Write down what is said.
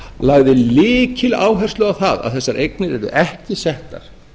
lagði lykiláherslu á það að þessar eignir yrðu ekki settar